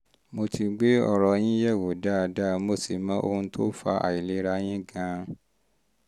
mo ti gbé ọ̀rọ̀ yín yẹ̀wò dáadáa mo sì mọ ohun tó fa àìlera yín gan-an